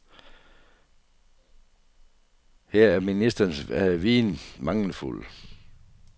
Her er ministerens viden mangelfuld.